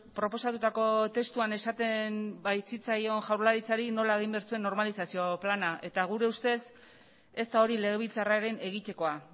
proposatutako testuan esaten baitzitzaion jaurlaritzari nola egin behar zuen normalizazio plana eta gure ustez ez da hori legebiltzarraren egitekoa